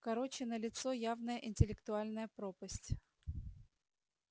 короче налицо явная интеллектуальная пропасть